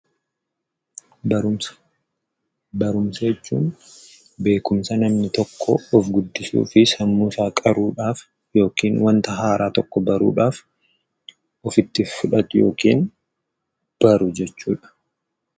Barumsa. Barumsa jechuun beekumsa namni tokko of guddisuu fi sammuusaa qaruudhaaf yookiin wanta haaraa tokko baruudhaf ofitti fudhatu yookiin baru jechuudha.